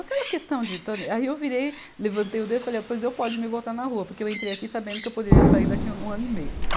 Aquela questão de, to, aí eu virei, levantei o dedo e falei, pois eu pode me botar na rua, porque eu entrei aqui sabendo que eu poderia sair daqui em um ano e meio.